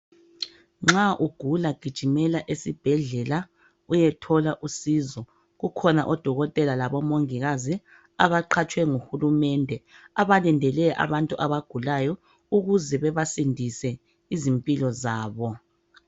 Nxa ugula gijimela esibhedlela uyethola usizo. Kukhona odokotela labomongikazi abaqhatswe nguhulumende abalindele abantu abagulayo ukuze bebasindise izimpilo zabo